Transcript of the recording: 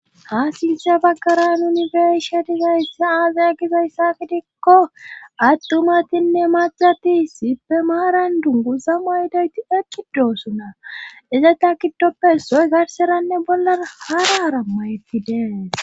ha sinsye baggara yunifershe dizayssa aazaya gizayssa gidikko attumatinne macati sippe maaran dungu za ma ydayti ekki doossuna izata giddoppe soy garseranne bollan hara arammayettidee